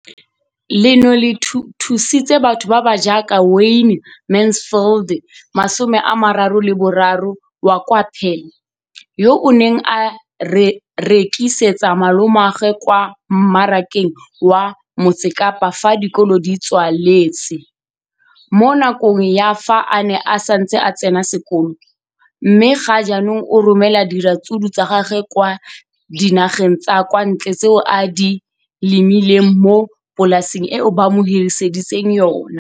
leno le thusitse batho ba ba jaaka Wayne Mansfield, 33, wa kwa Paarl, yo a neng a rekisetsa malomagwe kwa Marakeng wa Motsekapa fa dikolo di tswaletse, mo nakong ya fa a ne a santse a tsena sekolo, mme ga jaanong o romela diratsuru tsa gagwe kwa dinageng tsa kwa ntle tseo a di lemileng mo polaseng eo ba mo hiriseditseng yona.